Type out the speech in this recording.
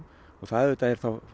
og það er auðvitað